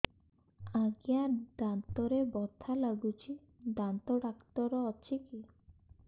ଆଜ୍ଞା ଦାନ୍ତରେ ବଥା ଲାଗୁଚି ଦାନ୍ତ ଡାକ୍ତର ଅଛି କି